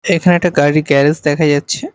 এখানে একটা গাড়ির গ্যারেজ দেখা যাচ্ছে।